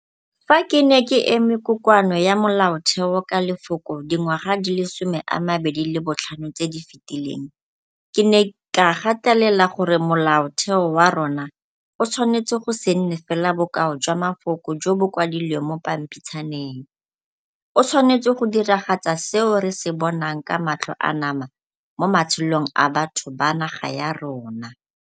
Fa ke ne ke eme Kokoano ya Molaotheo ka lefoko dingwaga di le 25 tse di fetileng ke ne ka gatelela gore Molaotheo wa rona o tshwanetse go se nne fela bokao jwa mafoko jo bo kwadilweng mo pampitshaneng, o tshwanetse go diragatsa seo re se bonang ka matlho a nama mo matshelong a batho ba naga ya rona.